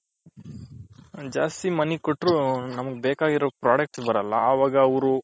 ಜಾಸ್ತಿ money ಕೊಟ್ಟು ನಮ್ಗ್ ಬೇಕಾಗಿರೋ product ಬರಲ್ಲ ಅವಾಗ ಅವ್ರು